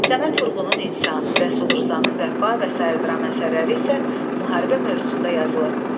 Səməd Vurğunun “İnsan”, Rəsul Rzanın “Vəfa” və sair dram əsərləri isə müharibə mövzusunda yazılıb.